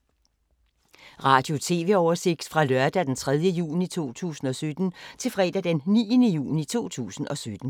Radio/TV oversigt fra lørdag d. 3. juni 2017 til fredag d. 9. juni 2017